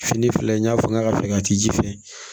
Fini filɛ n y'a fɔ n ka fɛkɛ a ti ji fɛ